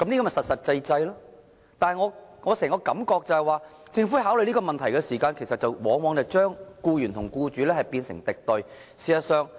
我對整件事的感覺是，政府在考慮問題時往往把僱員和僱主變成敵對雙方。